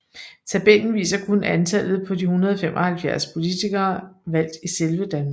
Tabellen viser kun antallet på de 175 politikere valgt i selve Danmark